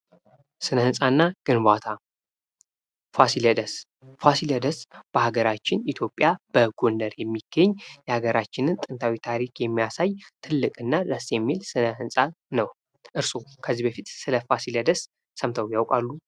ስነ ህንፃ እና ግንባታ ፋሲለደስ ፋሲለደስ በሀገራችን ኢትዮጵያ በጎንደር የሚገኝ የሀገራችንን ጥንታዊ ታሪክ የሚያሳይ ትልቅ እና ደስ የሚል ስነ ህንፃ ነው:: እርሶ ከዚህ በፊት ስለ ፋሲለደስ ሰምተው ያውቃሉ?